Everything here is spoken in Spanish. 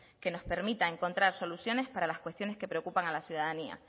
que nos permita encontrar soluciones para cuestiones que preocupan a la ciudadanía